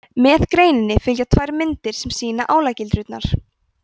með greininni fylgja tvær myndir sem sýna álagildrurnar